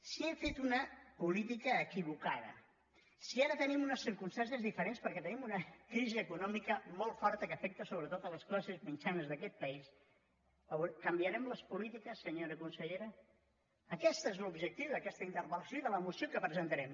si hem fet una política equivocada si ara tenim unes circumstàncies diferents perquè tenim una crisi econòmica molt forta que afecta sobretot les classes mitjanes d’aquest país canviarem les polítiques senyora consellera aquest és l’objectiu d’aquesta interpel·lació i de la moció que presentarem